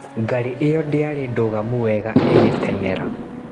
Ngari iyo ndĩarĩ ndugamu wega ĩgĩtengera.